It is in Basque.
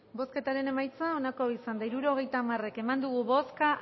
bozketaren emaitza onako izan da hirurogeita hamar eman dugu bozka